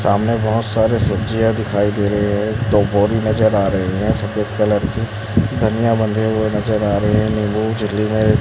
सामने बहोत सारे सब्जियां दिखाई दे रही है दो बोरी नज़र आ रहे है सफेद कलर की धनिया बंधे हुए नज़र आ रहे है नींबू झिल्ली मे --